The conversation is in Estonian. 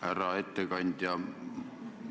Härra ettekandja!